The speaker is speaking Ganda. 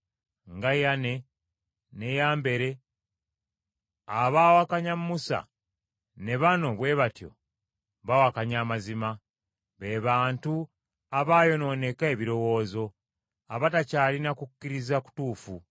nga Yane ne Yambere abaawakanya Musa, ne bano bwe batyo bawakanya amazima. Be bantu abaayonooneka ebirowoozo, abatakyalina kukkiriza kutuufu.